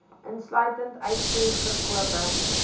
insluitend uitvoer verkope